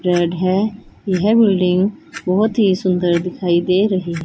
red है यह building बहोत ही सुंदर दिखाई दे रही--